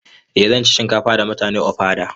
Eh zan ci shinkafa da mutane ofada.